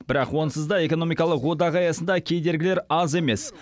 бірақ онсыз да экономикалық одақ аясында кедергілер аз емес